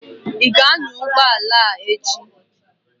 Ị ga-anya ụgbọ ala echi?